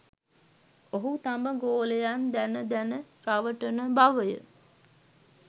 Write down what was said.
ඔහු තම ගෝලයන් දැන දැන රවටන බවය